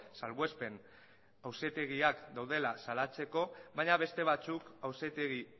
salbuespen auzitegiak daudela salatzeko baina beste batzuk auzitegi